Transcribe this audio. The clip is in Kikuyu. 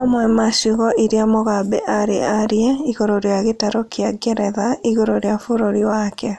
Mamwe ma ciugo iria Mugabe arĩ aaria igũrũ rĩa gĩtaro kĩa Ngeretha igũrũ rĩa bũrũri wake